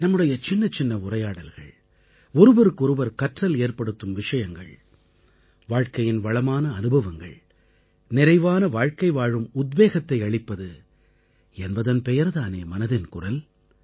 நம்முடைய சின்னச்சின்ன உரையாடல்கள் ஒருவருக்கு ஒருவர் கற்றல் ஏற்படுத்தும் விஷயங்கள் வாழ்க்கையின் வளமான அனுபவங்கள் நிறைவான வாழ்க்கை வாழும் உத்வேகத்தை அளிப்பது என்பதன் பெயர் தான் மனதின் குரல்